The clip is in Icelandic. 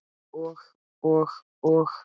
Og og og?